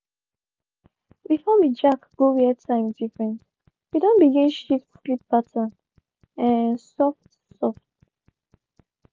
before we jack go where time different we don begin shift sleep pattern um soft-soft